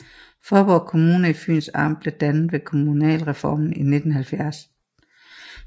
Faaborg Kommune i Fyns Amt blev dannet ved kommunalreformen i 1970